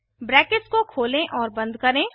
brackets को खोलें और बंद करें